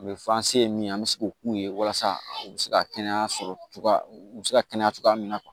U bɛ fɔ an se ye min ye an bɛ se k'o k'u ye walasa u bɛ se ka kɛnɛya sɔrɔ u bɛ se ka kɛnɛya cogoya min na